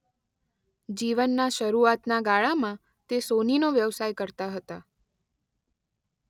જીવનના શરૂઆતના ગાળામાં તે સોનીનો વ્યવસાય કરતા હતા.